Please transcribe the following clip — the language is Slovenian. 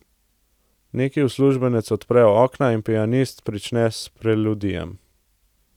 Neki uslužbenec odpre okna in pianist prične s preludijem.